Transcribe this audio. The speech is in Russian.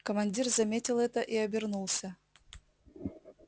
командир заметил это и обернулся